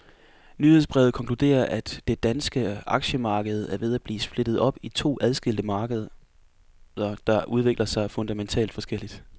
Nyhedsbrevet konkluderer, at det danske aktiemarked er ved at blive splittet op i to adskilte markeder, der udvikler sig fundamentalt forskelligt.